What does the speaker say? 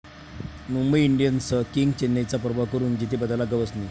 मुंबई इंडियन्सचं 'किंग',चेन्नईचा पराभव करून जेतेपदाला गवसणी